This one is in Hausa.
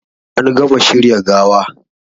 An gama shirya gawa